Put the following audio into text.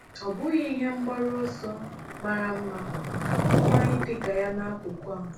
Ọ́ bụghị ihe mgbaru ọsọ mara mma mma ịdị ka ya nakụkụ a?